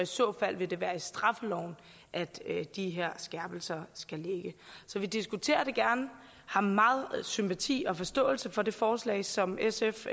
så fald vil det være i straffeloven at de her skærpelser skal ligge så vi diskuterer det gerne og har meget sympati og forståelse for det forslag som sf